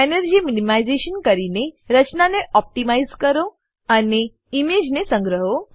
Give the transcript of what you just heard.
energy minimization કરીને રચનાને optimize કરો અને ઈમેજને સંગ્રહો